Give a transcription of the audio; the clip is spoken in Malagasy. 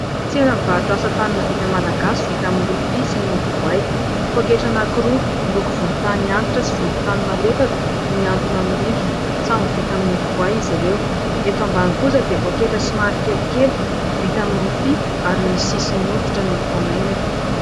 Tsena mivarotra asa tanana vita malagasy vita amin'ny rofia sy ny hodi-boay. Pôketra anankiroa miloko volontany antitra sy volontany malefaka no mihantona amin'ny rindrina ; samy ny vita amin'ny hodi-boay izy ireo. Eto ambany kosa dia pôketra somary kelikely vita amin'ny rofia ary misy sisiny hoditra no mifanaingina.